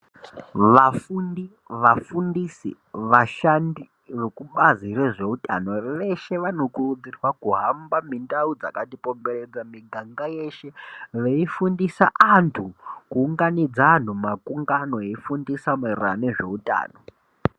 Vafundi, vafundisi, vashandi vekubazi rezveutano veshe vanokurudzirwa kuhamba mundau dzakatikomberedza, miganga yeshe veifundisa antu, kuunganidza antu makungano eifundisa maererano nezveutano.